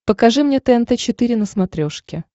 покажи мне тнт четыре на смотрешке